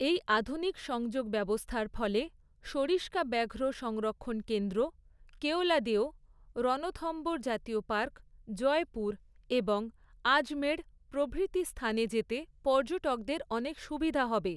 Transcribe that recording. এই আধুনিক সংযোগ ব্যবস্থার ফলে সরিসকা ব্যাঘ্র সংরক্ষণ কেন্দ্র, কেওলাদেও, রনথম্বোর জাতীয় পার্ক, জয়পুর এবং আজমেঢ় প্রভৃতি স্থানে যেতে পর্যটকদের অনেক সুবিধা হবে।